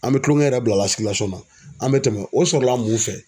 An bɛ kulonkɛ yɛrɛ bila na an bɛ tɛmɛ o sɔrɔla mun fɛ.